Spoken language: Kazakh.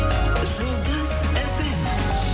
жұлдыз фм